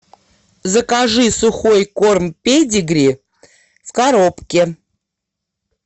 закажи сухой корм педигри в коробке